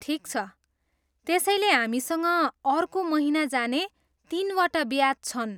ठिक छ। त्यसैले हामीसँग अर्को महिना जाने तिनवटा ब्याच छन्।